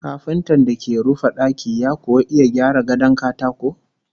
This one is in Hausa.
Kafintan da ke rufe daki ya kuwa iya gyara gadon katako?